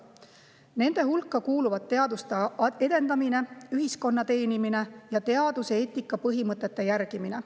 Nende hulka kuuluvad teaduse edendamine, ühiskonna teenimine ja teaduseetika põhimõtete järgimine.